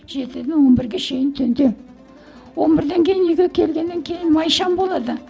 жетіден он бірге шейін түнде он бірден кейін үйге келгеннен кейін май шам болады